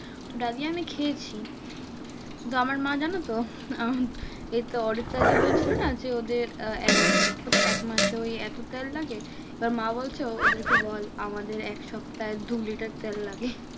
তো ডালিয়া আমি খেয়েছি। কিন্তু আমার মা জানোতো? আমার এইতো অরিত্রা যে বলছিলো না? যে ওদের আহ এক মাসে ওই এত তেল লাগে? এবার মা বলছে ওদের কে বল আমাদের এক সপ্তাহে দু লিটার তেল লাগে।